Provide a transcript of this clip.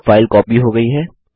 अब file copy हो गई है